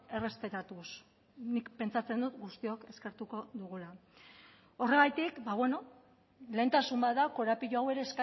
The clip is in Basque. errespetatuz nik pentsatzen dut guztiok eskertuko dugula horregatik lehentasun bat da korapilo hau ere